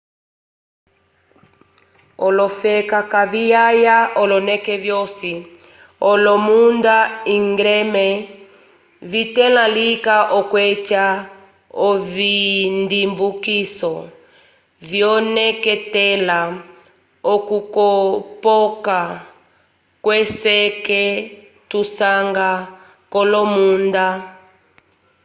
olofela kaviyaya oloneke vyosi olomunda íngreme vitẽla lika okweca ovindimbukiso vyoneketela okukopoka kweseke tusanga k'olomunda